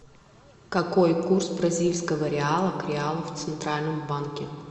какой курс бразильского реала к реалу в центральном банке